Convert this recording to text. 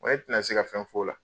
N ko ne tɛ na se ka fɛn f'o la.